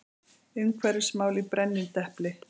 Umhverfismál í brennidepli.